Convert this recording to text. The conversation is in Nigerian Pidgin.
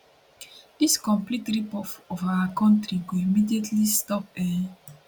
dis complete ripoff of our country go immediately stop um